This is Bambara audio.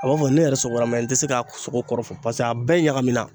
a b'a fɔ ne yɛrɛ sɔgɔla n tɛ se k'a sogo kɔrɔ fɔ paseke a bɛɛ ɲagamina.